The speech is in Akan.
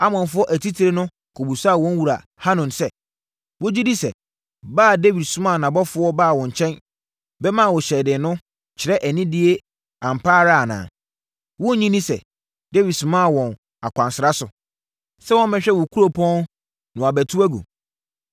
Amonfoɔ atitire no kɔbisaa wɔn wura Hanun sɛ, “Wogye di sɛ ba a Dawid somaa nʼabɔfoɔ baa wo nkyɛn bɛmaa wo hyɛden no kyerɛ anidie ampa ara anaa? Wonnye nni sɛ Dawid somaa wɔn akwansra so, sɛ wɔmmɛhwɛ wo kuropɔn na wɔabɛtu agu?”